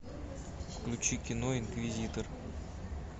включи кино инквизитор